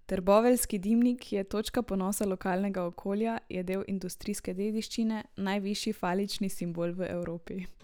Trboveljski dimnik je točka ponosa lokalnega okolja, je del industrijske dediščine, najvišji falični simbol v Evropi ...